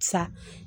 Sa